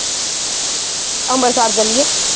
ਅਂਬਰਸਰ ਚੱਲੀਏ